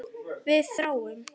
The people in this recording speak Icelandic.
Við þráum.